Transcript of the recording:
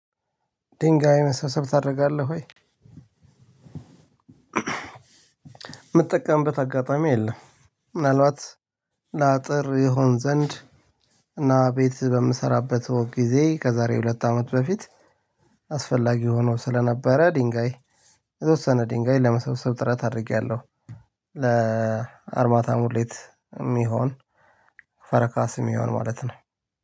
ድንጋይ መሰብሰብ ታደርጋለህ ወይ? ምጠቀምበት አጋጣሚ የለም። ምንአልባት ለአጥር ይሆን ዘንድ እና ቤት በምሰራበት ወቅት ጊዜ ከዛሬ ሁለት አመት በፊት። አስፈላጊ ሆኖ ስለነበረ ድንጋይ የተወሰነ ድንጋይ ለመሰብሰብ ጥረት አድርጌያለሁ። ለአርማታ ሙሌት የሚሆን ፈረካስ የሚሆን ማለት ነው።